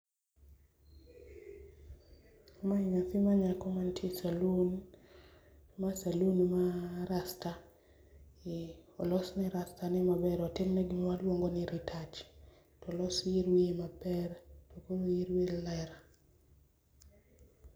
Mae nyathi manyako mantie e saloon. Ma salun ma rasta,e olosne rasta ne maber otimimne gima waluongo ni retouch tolosne yier wiye maber tokowir wiye ler.